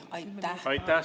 Aitäh!